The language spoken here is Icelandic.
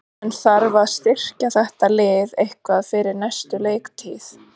En þarf að styrkja þetta lið eitthvað fyrir næstu leiktíð?